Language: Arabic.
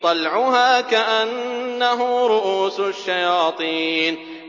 طَلْعُهَا كَأَنَّهُ رُءُوسُ الشَّيَاطِينِ